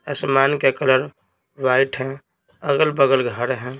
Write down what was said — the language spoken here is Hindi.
आसमान का कलर वाइट है अगल-बगल घर है।